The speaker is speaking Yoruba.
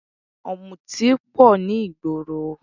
Ọ̀mùtí pọ̀ ní ìgboro